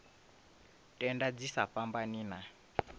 tenda dzi sa fhambani na